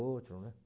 o outro, né?